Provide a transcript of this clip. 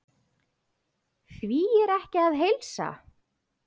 Því er ekki að heilsa.